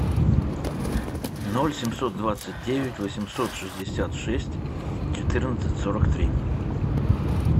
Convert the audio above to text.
ноль семьсот двадцать девять восемьсот шестьдесят шесть четырнадцать сорок три